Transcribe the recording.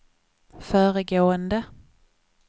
föregående